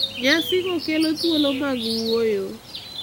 Nyasigo kelo thuolo mag wuoyo,